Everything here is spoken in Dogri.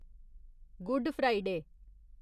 good Friday